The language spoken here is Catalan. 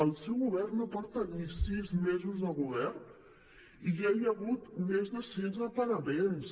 el seu govern no porta ni sis mesos de govern i ja hi ha hagut més de sis emparaments